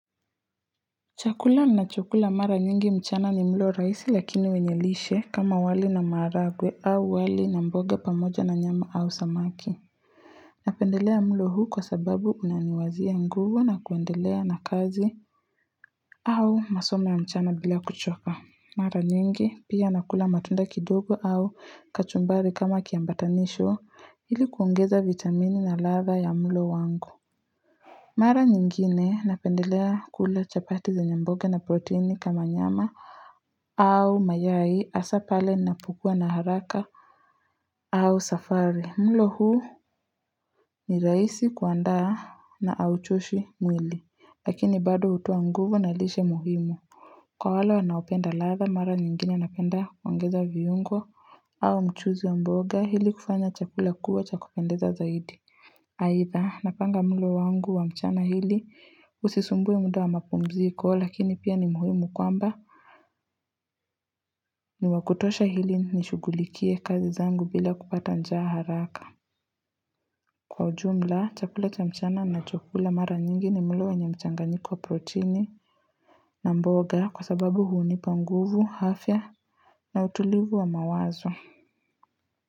Chakula na chakula mara nyingi mchana ni mlo raisi lakini wenyelishe kama wali na maragwe au wali na mboga pamoja na nyama au samaki Napendelea mlo huu kwa sababu unaniwazia nguvu na kuendelea na kazi au masomo ya mchana bila kuchoka Mara nyingi pia nakula matunda kidogo au kachumbari kama kiambatanisho ili kuongeza vitamini na ladha ya mlo wangu Mara nyingine napendelea kula chapati zenye mboga na proteni kama nyama au mayai hasaa pale napokua na haraka au safari mlo huu ni raisi kuandaa na hauchoshi mwili lakini bado hutoa nguvu na lishe muhimu kwa wale wanaopenda ladha mara nyingine napenda kuongeza viungo au mchuzi wa mboga ili kufanya chakula kuwa cha kupendeza zaidi aidha, napanga mlo wangu wa mchana ili usisumbue muda wa mapumziko lakini pia ni muhimu kwamba ni wakutosha hili nishughulikie kazi zangu bila kupata njaa haraka. Kwa ujumla, chakula cha mchana nachokula mara nyingi ni mlo wenye mchanganjiko wa protini na mboga kwa sababu hunipa nguvu, afya na utulivu wa mawazo.